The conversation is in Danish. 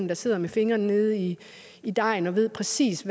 der sidder med fingrene nede i i dejen og ved præcis